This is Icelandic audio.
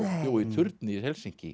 í turni í Helsinki